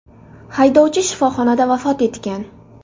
Haydovchi shifoxonada vafot etgan.